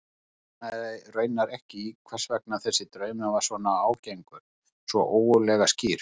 Hann botnaði raunar ekki í hvers vegna þessi draumur var svona ágengur, svona ógurlega skýr.